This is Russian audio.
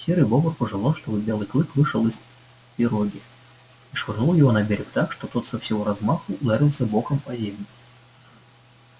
серый бобр пожелал чтобы белый клык вышел из пироги и швырнул его на берег так что тот со всего размаху ударился боком о землю